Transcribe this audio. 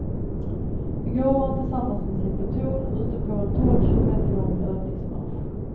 I går var han tillsammans med sin pluton ute på en tolv kilometer lång övningsmarsch.